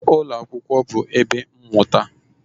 Ụlọ akwụkwọ bụ ebe mmụta